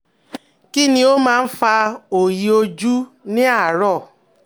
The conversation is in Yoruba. Kí ni ó máa ń fa òòyì ojú ní àárọ̀?